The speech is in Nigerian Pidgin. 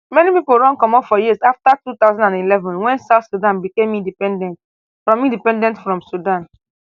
many pipo run comot for years afta two thousand and eleven wen south sudan become independent from independent from sudan